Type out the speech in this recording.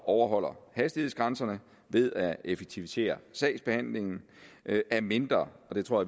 overholder hastighedsgrænserne ved at effektivisere sagsbehandlingen af mindre og det tror